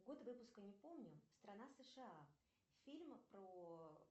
год выпуска не помню страна сша фильм про